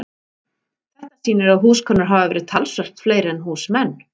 Þetta sýnir að húskonur hafa verið talsvert fleiri en húsmenn.